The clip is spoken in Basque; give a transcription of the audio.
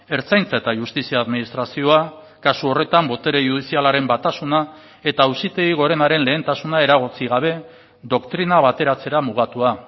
ertzaintza eta justizia administrazioa kasu horretan botere judizialaren batasuna eta auzitegi gorenaren lehentasuna eragotzi gabe doktrina bateratzera mugatua